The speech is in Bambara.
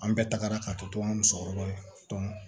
An bɛɛ tagara ka to an ka musokɔrɔbaw ye